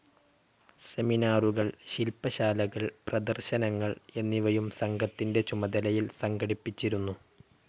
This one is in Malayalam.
സെമിനാറുകൾ, ശിൽപ്പശാലകൾ, പ്രദർശനങ്ങൾ എന്നിവയും സംഘത്തിൻ്റെ ചുമതലയിൽ സംഘടിപ്പിച്ചിരുന്നു.